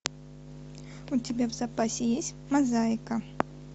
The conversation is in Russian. у тебя в запасе есть мозаика